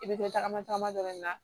I bɛ to tagama tagama dɔrɔn de